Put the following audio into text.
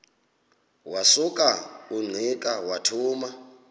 wasuka ungqika wathuma